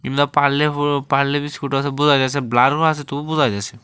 পারলে হো পারলে বিস্কুট আসে বোঝা গেসে ব্লারো আছে তবু বোঝা গেসে।